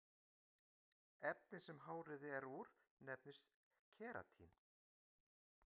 efnið sem hárið er úr nefnist keratín